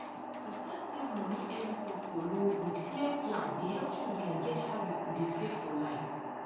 to start save money early for kolo with clear plan dey help children get habit to dey save for life